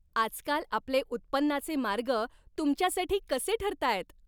आजकाल आपले उत्पन्नाचे मार्ग तुमच्यासाठी कसे ठरतायत?